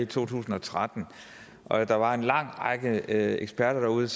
to tusind og tretten og at der var en lang række eksperter derude